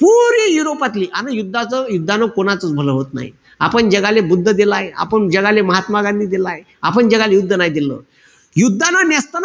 पुरी युरोपातली, अन युद्धच युद्धानं कोणाचाच भलं होतं नाई. आपण जगाले बुद्ध देलाय, आपण जगाले महात्मा गांधी देलाय, आपण जगाले युद्ध नाई देल. युद्धानं नेसताबुत,